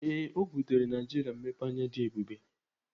Ee, ọ butere Naijiria mmepeanya dị ebube.